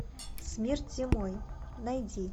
смерть зимой найди